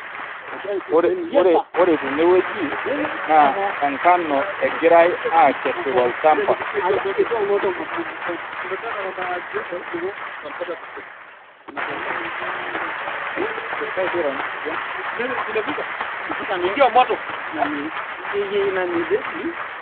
Ore tene woji naa enkano egirai aakesu tol'chamba.